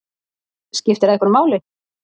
Skipti það einhverju máli?